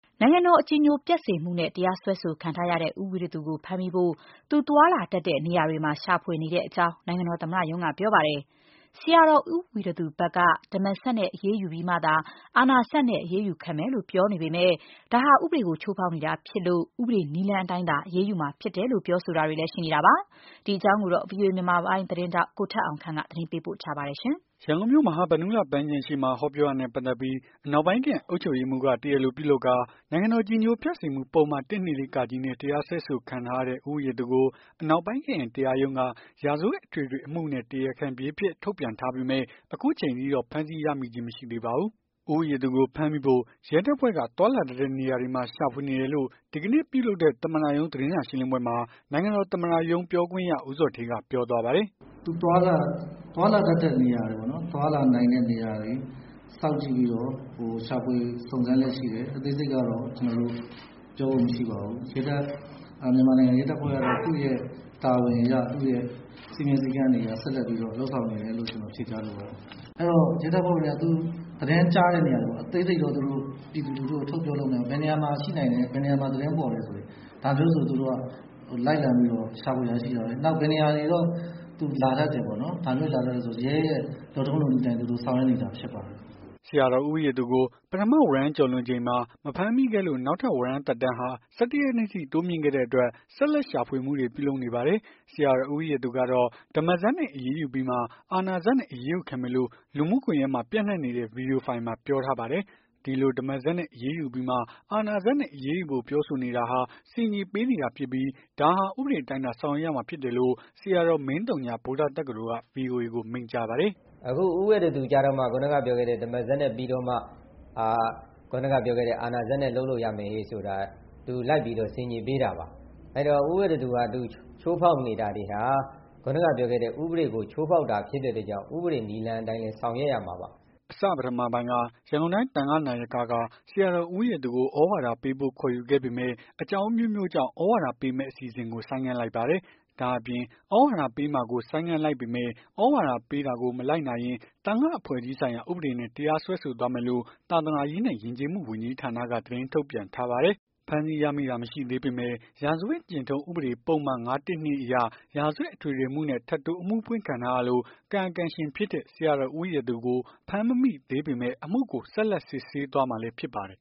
နိုင်ငံတော်အကြည်ညိုပျက်စေမှုနဲ့ တရားစွဲဆိုခံထားရတဲ့ ဆရာတော်ဦးဝီရသူကို ဖမ်းမိဖို့ သွားလာတတ်တဲ့ နေရာတွေမှာ ရှာဖွေနေတဲ့အကြောင်း နိုင်ငံတော်သမ္မတရုံးက ပြောပါတယ်။ ဆရာတော် ဦးဝီရသူဘက်က ဓမ္မစက်နဲ့အရေးယူပြီးမှ အာဏာစက်နဲ့ အရေးယူခံမယ်လို့ ပြောပေမယ့် ဒါဟာ ဥပဒေကို ချိုးဖောက်နေတာ ဖြစ်လို့ ဥပဒေနည်းလမ်းအတိုင်းသာ အရေးယူရမှာဖြစ်တယ်လို့ ပြောဆိုတာတွေလည်းရှိပါတယ်။ ဒီအကြောင်းကို ဗွီအိုအေ မြန်မာပိုင်းသတင်းထောက် ကိုထက်အောင်ခန့်က သတင်းပေးပို့ထားပါတယ်။ ရန်ကုန်မြို့ မဟာဗန္ဓုလ ပန်းခြံရှေ့မှာ ဟောပြောတာနဲ့ ပတ်သက်ပြီး အနောက်ပိုင်း ခရိုင်အုပ်ချုပ်ရေးမှူးက တရားလိုပြုလုပ်ကာ နိုင်ငံတော် အကြည်ညိုပျက်စေမှုပုဒ်မ ၁၂၄ နဲ့ တရားစွဲဆိုခံထားရတဲ့ ဦးဝီရသူကို အနောက်ပိုင်းခရိုင်တရားရုံးက ရာဇဝတ်အထွေထွေအမှုနဲ့ တရားခံပြေး အဖြစ်ထုတ်ပြန်ထားပေမယ့် အခုချိန်ထိတော့ ဖမ်းဆီးရမိခြင်း မရှိသေးပါဘူး။ ဦးဝီရသူကို ဖမ်းမိဖို့ ရဲတပ်ဖွဲ့က သွားလာတတ်တဲ့နေရာတွေမှာ ရှာဖွေနေတယ်လို့ ဒီကနေ့ ပြုလုပ်တဲ့ သမ္မတရုံး သတင်းစာရှင်းလင်းပွဲမှာ နိုင်ငံတော် သမ္မတရုံး ပြောခွင့်ရ ဦးဇော်ဌေးက ပြောသွားပါတယ်။ "သူသွားလာတတ်တဲ့နေရာတွေပေါ့နော်။ သွားလာနိုင်တဲ့နေရာတွေ စောင့်ကြည့်ပြီးတော့ ရှာဖွေ စုံစမ်းလျက် ရှိတယ်။ အသေးစိတ်တော့ ပြောဖို့မရှိပါဘူး။ မြန်မာနိုင်ငံ ရဲတပ်ဖွဲ့က သူ့ရဲ့တာဝန်အရ သူ့ရဲ့ စည်းမျဉ်း စည်းကမ်းတွေအရ ဆက်လက်ပြီးတော့ လုပ်ဆောင်နေတယ်လို့ ဖြေကြားလိုပါတယ်။ အဲ့တော့ ရဲတပ်ဖွဲ့ ဝင်တွေက သူ့သတင်းကြားတဲ့နေရာတွေပေါ့။ အသေးစိတ်တော့ ပြည်သူလူထုကို ထုတ်ပြောလို့ မရဘူး။ ဘယ်နေရာမှာ ရှိနိုင်တယ်။ ဘယ်နေရာမှာ သတင်းပေါ်တယ်။ ဒါမျိုးဆိုသူတို့က လိုက်လံပြီးတော့ ရှာဖွေတာ ရှိပါတယ်။ နောက်ပြီးတော့ ဘယ်နေရာတွေတော့ သူလာတတ်တယ်ပေါ့။ ဒါမျိုးဆို ရဲရဲ့လုပ်ထုံး လုပ်နည်းအတိုင်း သူတို့ဆောင်ရွက်နေပါတယ်။" ဆရာတော် ဦးဝီရသူကို ပထမဝရမ်း ကျော်လွန်ချိန်မှာ မဖမ်းမိခဲ့လို့ နောက်ထပ် ဝရမ်းသက်တမ်းဟာ ၁၁ ရက်နေ့အထိ တိုးမြှင့်ခဲ့တဲ့ အတွက် ဆက်လက်ရှာဖွေမှုတွေ ပြုလုပ်နေပါတယ်။ ဆရာတော် ဦးဝီရသူ ကတော့ ဓမ္မစက်နဲ့ အရေးယူပြီးမှ အာဏာစက်နဲ့ အရေးယူခံမယ်လို့ လူမှုကွန်ယက်မှာ ပျံ့နှံ့နေတဲ့ ဗီဒီယိုဖိုင်မှာ ပြောထား ပါတယ်။ ဒီလို ဓမ္မစက်နဲ့ အရေးယူပြီးမှ အာဏာစက်နဲ့ အရေးယူဖို့ ပြောဆိုနေတာဟာ ဆင်ခြေပေးနေတာဖြစ်ပြီး ဒါဟာ ဥပဒေအတိုင်းသာ ဆောင်ရွက်ရမှာလို့ ဆရာတော် မင်းသုည က ဗွီအိုအေကို မိန့်ကြားပါတယ်။ "အခုဦးဝီရသူကျတော့မှ ခုနကပြောခဲ့တဲ့ ဓမ္မစက်နဲ့ပြီးတော့မှ အာဏာစက်နဲ့ အခုနက ပြောခဲ့တဲ့ အာဏာစက်နဲ့ လုပ်လို့ရမယ်ဟေ့ဆိုတာက သူလိုက်ပြီးတော့ ဆင်ခြေပေးတာပါ။ အဲ့တော့ ဦးဝီရသူဟာ သူချိုးဖောက်နေတာ တွေဟာ ခုနကပြောခဲ့တဲ့ ဥပဒေကို ချိုးဖောက်တာ ဖြစ်တဲ့အတွက်ကြောင့် ဥပဒေနည်းလမ်းအတိုင်းပဲ ဆောင်ရွက် ရမှာပါ" အစပထမပိုင်းက ရန်ကုန်တိုင်း သံဃာ့နာယက ဆရာတော်ဦးဝီရသူကို သြဝါဒပေးဖို့ ခေါ်ယူခဲ့ပေမယ့် အကြောင်းအမျိုးမျိုးကြောင့် သြဝါဒပေးမယ့် အစီအစဉ်ကို ဆိုင်းငံ့လိုက်ပါတယ်။ ဒါ့အပြင် သြဝါဒပေးမှာကို ဆိုင်းငံ့လိုက် ပေမယ့် သြဝါဒပေးတာကို မလိုက်နာရင် သံဃာအဖွဲ့အစည်းဆိုင်ရာ ဥပဒေနဲ့ တရားစွဲဆိုသွားမယ်လို့ သာသာနာရေးနဲ့ယဉ်ကျေးမှု ဝန်ကြီး ဌာနက သတင်းထုတ်ပြန်ထားပါတယ်။ ဖမ်းဆီးရမိတာမရှိသေးပေမယ့် ရာဇဝတ်ကျင့်ထုံး ဥပဒေပုဒ်မ ၅၁၂ အရ ရာဇဝတ်အထွေထွေအမှုနဲ့ ထပ်တိုး အမှုဖွင့်ခံထားရလို့ကာယံကံရှင်ဖြစ်တဲ့ ဆရာတော် ဦးဝီရသူကို ဖမ်းမမိပေးသေပေမယ့် အမှုကို ဆက်လက် စစ်ဆေးသွားမှာလည်း ဖြစ်ပါတယ်